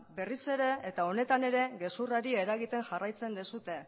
berriz ere eta honetan ere gezurrari eragiten jarraitzen duzue